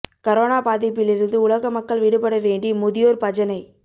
corona பாதிப்பில் இருந்து உலக மக்கள் விடுபட வேண்டி முதியோா் பஜனை